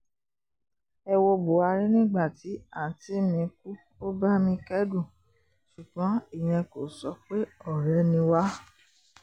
ẹ wo buhari nígbà tí àunti mi kú ó bá mi kẹ́dùn ṣùgbọ́n ìyẹn kò sọ pé ọ̀rẹ́ ni wá